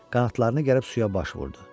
Qanadlarını gəlib suya baş vurdu.